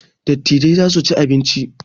Dattijai za su ci abinci